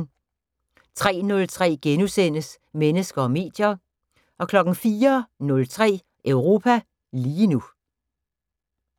03:03: Mennesker og medier * 04:03: Europa lige nu